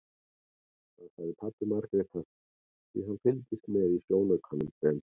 Það sagði pabbi Margrétar því hann fylgdist með í sjónaukanum sem